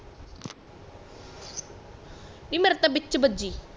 ਨੀ ਮੇਰੇ ਤੇ ਬੀਚ ਬਜੀ